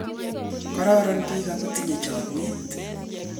Kororon biik ago tindoi chamyet